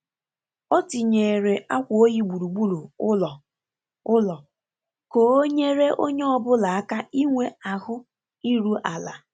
O tinyeere akwa oyi gburugburu ụlọ ụlọ ka o nyere onye ọ bụla aka inwe ahu iru ala.